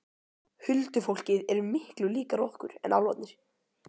Huldufólkið er miklu líkara okkur en álfarnir.